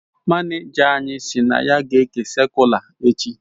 manija anyi si na ya ga eke sakula echi